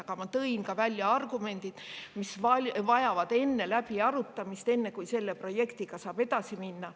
Aga ma tõin välja ka argumendid, mis vajavad läbiarutamist enne, kui selle projektiga saab edasi minna.